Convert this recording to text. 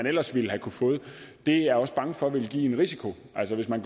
ellers ville have kunnet få det er jeg også bange for ville give en risiko altså hvis man